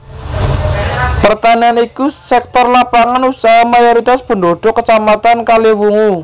Pertanian iku sektor lapangan usaha mayoritas pendhudhuk Kacamatan Kaliwungu